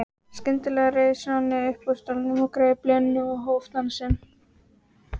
Skyndilega reis Nonni upp úr stólnum, greip Lenu og hóf dansinn.